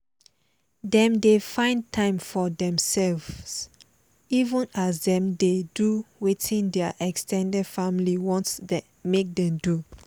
dem dey find time for themselves even as them dey do wetin their ex ten ded family want make them do